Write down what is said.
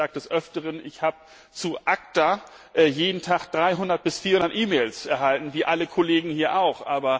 Ich sage des Öfteren Ich habe zu ACTA jeden Tag 300 bis 400 E Mails erhalten wie alle Kollegen hier auch.